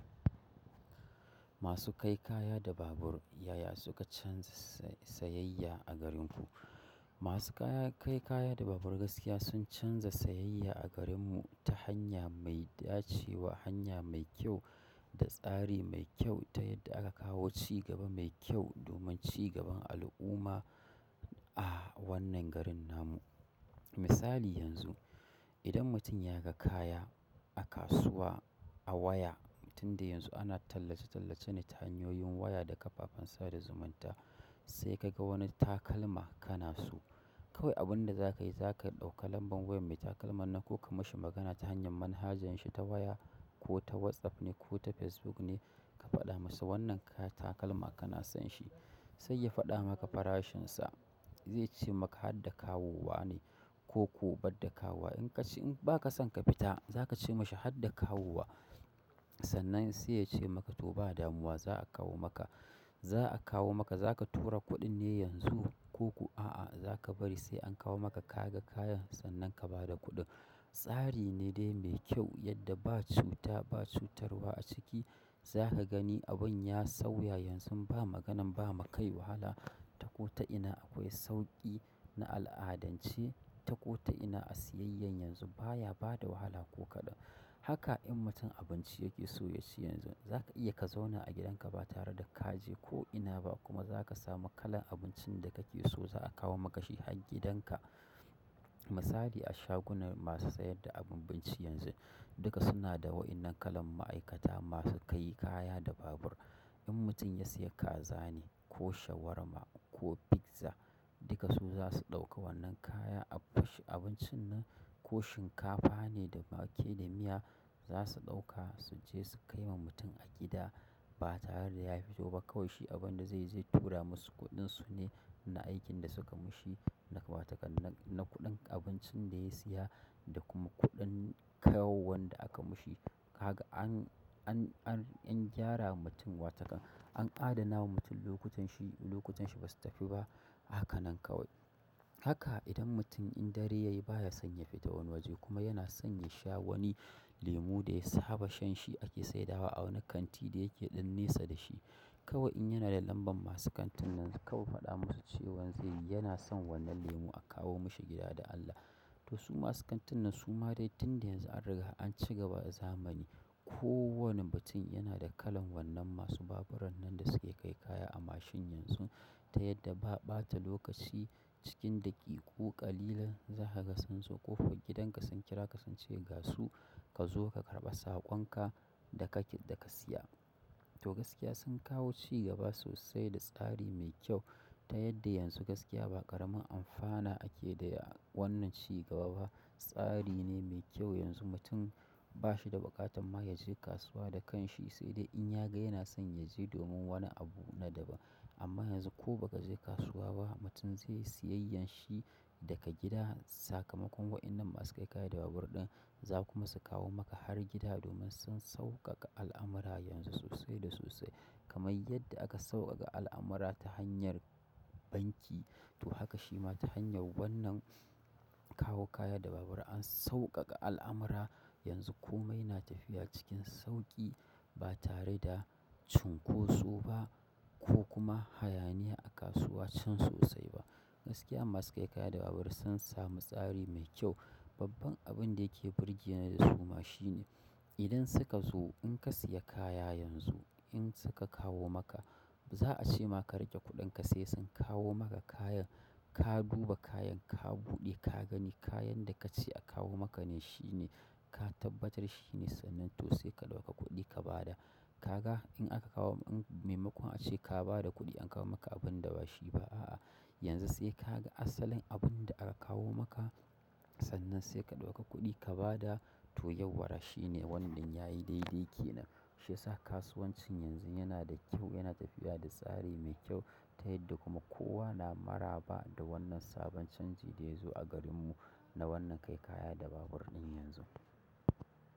Masu kai kaya da babur, ya ya suka canza sayayya a garin ku? Masu kai kaya da babur gaskiya sun canza sayayya a garin mu ta hanya mai dacewa, hanya mai kyau da tsari mai kyau ta yadda aka kawo ci gaba mai kyau domin ci gaban al'umma a wannan garin namu. Misali yanzu, idan mutum ya ga kaya a kasuwa a waya, tun da yanzu ana tallace-tallace ne ta hanyoyin waya da kafafen sada zumunta. Sai ka ga wani takalma kana so. Kawai abin da za ka yi, za ka ɗauka lambar wayar mai takalman na ko ka mishi magana ta hanyar manhajan shi ta waya ko ta WhatsApp ne ko ta Facebook ne ka faɗa masa wannan takalma kana son shi. Sai ya faɗa maka farashin sa. Zai ce maka har da kawowa ne ko ko ban da kawowa. In ka ce in ba ka son ka fita, za ka ce mashi har da kawowa. Sannan sai ya ce maka to ba damuwa za a kawo maka. Za a kawo maka, za ka tura kuɗin ne yanzu koko a'a za ka bari sai an kawo maka ka ga kayan sannan ka bada kuɗin. Tsari ne dai mai kyau yadda ba cuta, ba cutarwa a ciki. Za ka gani abin ya sauya yanzu ba maganan ba ma kai wahala ta ko ta ina akwai sauƙi na al'adance ta ko ta ina a siyayyan yanzu baya bada wahala ko kaɗan. Haka in mutum abinci yake so ya ci yanzu, za ka iya ka zauna a gidanka ba tare da ka je ko ina ba kuma za ka samu kalan abincin da kake so za a kawo maka shi har gidan ka. Misali a shagunan masu sayar da abinci, yanzu duka suna da waɗannan kalan ma'aikata masu kai kaya da babur in mutum ya sayi kaza ne, ko shawarma, ko pizza, duka su zasu ɗauka wannan kaya abincin nan ko shinkafa ne da wake da miya za su ɗauka su je su kai ma mutum a gida ba tare da ya fito ba. Kawai shi abin da zai yi zai tura musu kuɗin su ne na aikin da suka mishi na watakan na na kuɗin abincin da ya siya da kuma kuɗin kawowan da aka mishi. Kaga an, an, an, an gyara wa mutum watakan, an adana wa mutum lokutan shi, lokutan shi basu tafi ba a haka nan kawai. Haka idan mutum in dare yayi baya son ya fita wani waje kuma yana son ya sha wani lemu da ya saba shan shi ake saidawa a wani kanti da yake ɗan nesa da shi. Kawai in yana da lambar masu kantin nan kawai faɗa musu cewan zai, yana son wannan lemu a kawo mishi gida da Allah. Toh su masu kantin nan su ma dai tun da yanzu an riga an ci gaba da a zamani. Ko wanne mutum yana da kalan wannan masu baburan nan da suke kai kaya a mashin yanzu ta yadda ba ɓata lokaci cikin daƙiƙu ƙalilan za ka gan sun zo ƙofan gidan ka sun kira ka sun ce gasu ka zo ka karɓa saƙon ka da ka, da ka siya. Toh gaskiya sun kawo ci gaba sosai da tsari mai kyau ta yadda yanzu gaskiya ba ƙaramin amfana ake yi da wannan ci gaba ba. Tsari ne mai kyau yanzu mutum ba shi da buƙatan ma ya je kasuwa da kan shi sai dai in ya gai yana son ya je domin wani abu na daban. Amma yanzu ko ba ka je kasuwa ba, mutum zai yi siyayyar shi daga gida. Sakamakon wa'innan masu kai kaya da babur ɗin za kuma su kawo maka har gida domin sun sauƙaƙa al'amurra yanzu sosai da sosai. Kamai yadda aka sauƙaƙa al'amurra ta hanyar banki, to haka shi ma ta hanyar wannan kawo kaya da babur an sauƙaƙa al'amurra. Yanzu komai na tafiya cikin sauƙi ba tare da cunkoso ba ko kuma hayaniya a kasuwa can sosai ba. Gaskiya masu kai kaya da babur sun samu tsari mai kyau. Babban abin da yake burge ni da su ma shi ne idan suka zo in ka siya kaya yanzu in suka kawo maka za a ce ma ka riƙe kuɗin ka sai sun kawo maka kayan. Ka duba kayan, ka buɗe ka gani kayan da ka ce a kawo maka ne shi ne. Ka tabbatar shi ne sannan toh sai ka ɗauka kuɗi ka bada. Kaga in aka kawo maimakon ace ka bada kuɗi an kawo maka abinda ba shi ba yanzu sai ka ga asalin abin da aka kawo maka sannan sai ka ɗauka kuɗi ka bada. Toh yauwara shine wannan yayi daidai ke nan. Shi yasa kasuwancin yanzun yana da kyau yana tafiya da tsari mai kyau ta yanda kuma kowa na maraba da wannan sabon canjin.